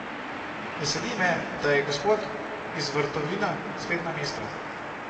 Veseli me, da je gospod iz Vrtovina spet na mestu.